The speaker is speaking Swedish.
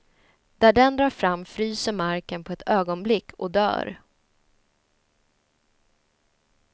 Där den drar fram fryser marken på ett ögonblick och dör.